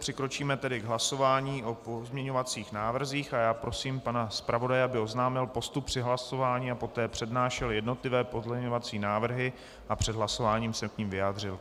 Přikročíme tedy k hlasování o pozměňovacích návrzích a já prosím pana zpravodaje, aby oznámil postup při hlasování a poté přednášel jednotlivé pozměňovací návrhy a před hlasováním se k nim vyjádřil.